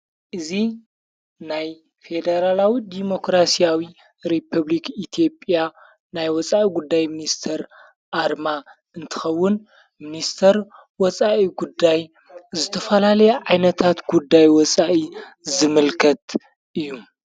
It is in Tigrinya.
እዙ ናይ ፌደራላዊ ዲሞክራስያዊ ሪፑብልክ ኢቲጴያ ናይ ወፃኢ ጉዳይ ምንስተር ኣርማ እንትኸውን ምንስተር ወፃኢ ጉዳይ ዝተፈላለየ ዓይነታት ጉዳይ ወፃኢ ዝምልከት እዩ።